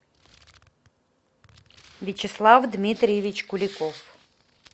вячеслав дмитриевич куликов